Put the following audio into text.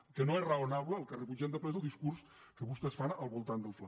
el que no és raonable el que rebutgem de ple és el discurs que vostès fan al voltant del fla